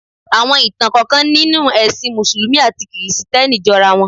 Àwọn ìtàn kọ̀ọ̀kan nínú ẹ̀sìn mùsùlùmí àti kìrìsìtẹ́nì jọra wọn.